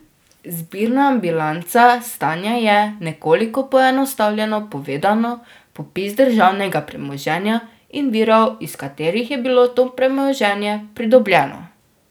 Zbirna bilanca stanja je, nekoliko poenostavljeno povedano, popis državnega premoženja in virov iz katerih je bilo to premoženje pridobljeno.